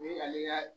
Ni ale ka